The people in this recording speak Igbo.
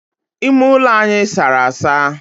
Ime ulo anyi sara asa.